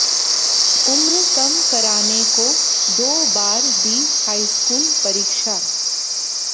उम्र कम कराने को दो बार दी हाईस्कूल परीक्षा